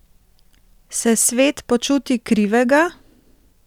Se svet počuti krivega?